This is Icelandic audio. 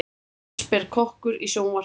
Allsber kokkur í sjónvarpi